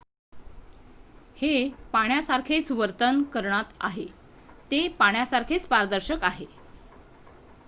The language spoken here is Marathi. """हे पाण्यासारखेच वर्तन करणात आहे ते पाण्यासारखेच पारदर्शक आहे.